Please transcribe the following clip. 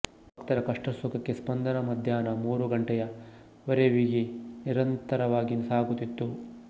ಭಕ್ತರ ಕಷ್ಟಸುಖಕ್ಕೆ ಸ್ಪಂದನ ಮಧ್ಯಾನ್ಹ ಮೂರು ಗಂಟೆಯ ವರೆವಿಗೆ ನಿರಂತರವಾಗಿ ಸಾಗುತ್ತಿತ್ತು